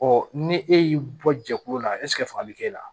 ni e y'i bɔ jɛkulu la faga bɛ k'e la